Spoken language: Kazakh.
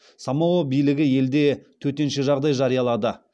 самоа билігі елде төтенше жағдай жариялады